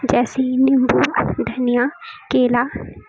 ऐसे ही नींबू धनिया केला--